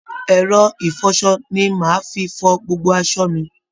Ẹrọ ìfọṣọ ni màá fi fọ gbogbo asọ mi